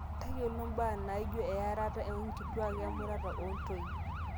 tayiolo imbaa naaijo earata oonkituaak, emurata oontoyie